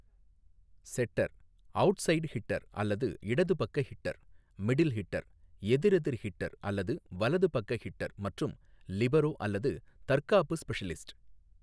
செட்டர், outside hitter அல்லது இடது பக்க ஹிட்டர், மிடில் ஹிட்டர், எதிரெதிர் ஹிட்டர் அல்லது வலது பக்க ஹிட்டர் மற்றும் லிபரோ அல்லது தற்காப்பு ஸ்பெஷலிஸ்ட்.